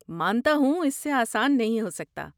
مانتا ہوں! اس سے آسان نہیں ہو سکتا۔